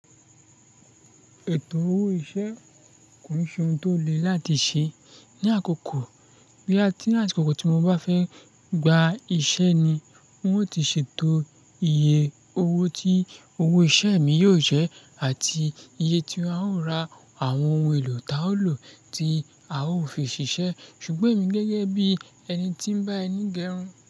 Ètò owó iṣẹ́ kò ṣe ohun tó le láti ṣe. Ni àkókò, bí àti ní àsìkò kan tí wón bá fẹ́ gba iṣẹ́ ni wón ó ti ṣètò iye owó tí owó iṣẹ́ mi yóò jẹ́ àti iye tí a ó ra àwọn ohun èlò táa ó lò tí a ó fi ṣiṣẹ́. Ṣùgbọ́n èmi gẹ́gẹ́ bí ẹni tí ń bá ẹni gẹrun.